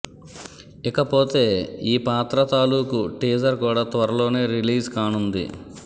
ఇకపోతే ఈ పాత్ర తాలూకు టీజర్ కూడా త్వరలోనే రిలీజ్ కానుంది